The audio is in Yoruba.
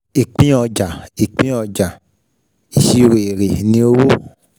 Ìpín ọjà, Ìpín ọjà, ìṣirò èrè ni owó.